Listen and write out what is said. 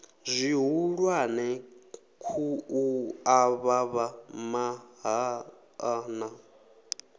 zwihulwane khu avhavha mahaḓa na